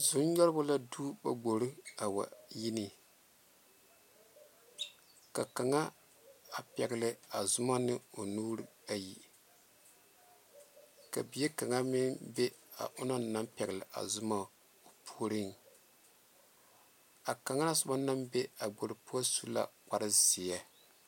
zonyɔgeba la tu ba kpoore a wa woŋ yi ne ka a kaŋe peɛle a zumaa ane o nuu are ka bie kaŋe meŋ be a onoɔ naŋ peɛle a kaŋ naŋ be a kpoore puoriŋ pɛ kpaare zeɛ.